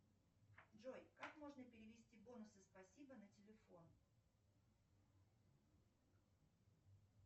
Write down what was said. джой как можно перевести бонусы спасибо на телефон